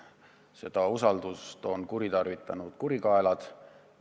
Seda usaldust on kuritarvitanud kurikaelad.